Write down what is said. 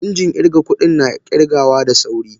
Injin irga kudin na kirgawa da sauri.